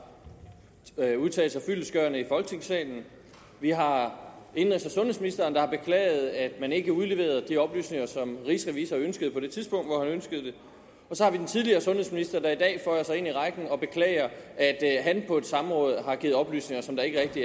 udtalt sig fyldestgørende i folketingssalen vi har indenrigs og sundhedsministeren der har beklaget at man ikke udleverede de oplysninger som rigsrevisor ønskede på det tidspunkt hvor han ønskede det og så har vi den tidligere sundhedsminister der i dag føjer sig til rækken og beklager at han på et samråd har givet oplysninger som ikke rigtig